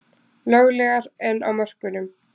Löglegar en á mörkunum